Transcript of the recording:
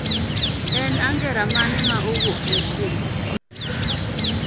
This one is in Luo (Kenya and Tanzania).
En angera mane ma owuok machiegni